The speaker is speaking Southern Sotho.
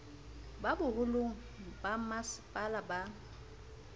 ba boholong ba bommasepala ba